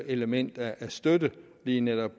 element af støtte på lige netop